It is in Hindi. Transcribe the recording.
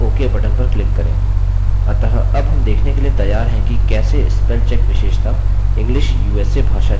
अतः अब हम देखने के लिए तैयार हैं कि कैसे spellcheck विशेषता english usa भाषा के लिए कार्य करती है